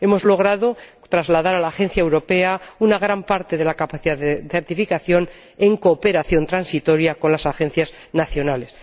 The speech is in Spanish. Hemos logrado trasladar a la Agencia Ferroviaria Europea una gran parte de la capacidad de certificación, en cooperación transitoria con las agencias nacionales.